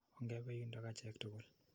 Ongepe yundok achek tukul.